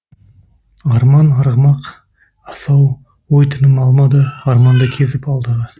арман арғымақ асау ой тыным алмады арманды кезіп алдағы